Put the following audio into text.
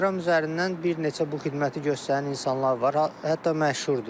İnstagram üzərindən bir neçə bu xidməti göstərən insanlar var, hətta məşhurdur.